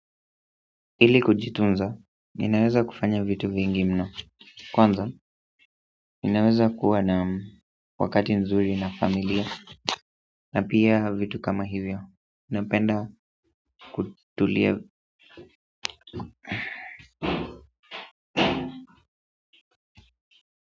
Ili kujitunza ninaweza fanya vitu vingi mno kwanza ninaweza kuwa na wakati mzuri na familia na pia vitu kama hivyo, napenda kutulia.